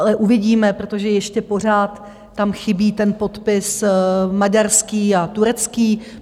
Ale uvidíme, protože ještě pořád tam chybí ten podpis maďarský a turecký.